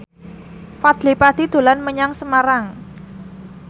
Fadly Padi dolan menyang Semarang